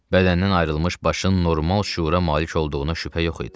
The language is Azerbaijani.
Bədəndən ayrılmış başın normal şüura malik olduğuna şübhə yox idi.